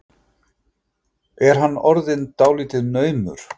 Er hann ekki orðinn dálítið naumur?